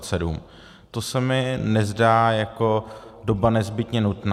To se mi nezdá jako doba nezbytně nutná.